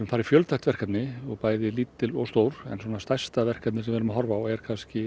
fara í fjölþætt verkefni bæði lítil og stór en stærsta verkefnið sem við erum að horfa á er